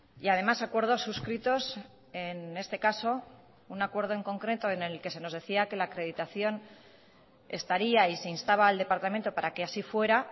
y además acuerdos suscritos en este caso un acuerdo en concreto en el que se nos decía que la acreditación estaría y se instaba al departamento para que así fuera